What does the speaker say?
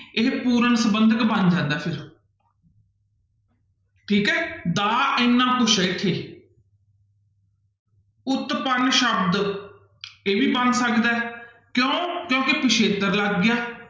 ਇਹ ਪੂਰਨ ਸੰਬੰਧਕ ਬਣ ਜਾਂਦਾ ਫਿਰ ਠੀਕ ਹੈ ਦਾ ਇੰਨਾ ਕੁਛ ਹੈ ਇੱਥੇ ਉਤਪੰਨ ਸ਼ਬਦ ਇਹ ਵੀ ਬਣ ਸਕਦਾ ਹੈ ਕਿਉਂ ਕਿਉਂਕਿ ਪਿਛੇਤਰ ਲੱਗ ਗਿਆ।